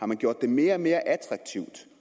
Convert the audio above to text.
man gjort det mere og mere attraktivt